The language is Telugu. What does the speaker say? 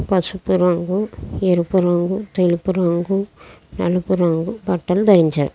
పసుపు రంగు ఎరుపు రంగు తెలుపు రంగు నలుపు రంగు బట్టలు ధరించారు.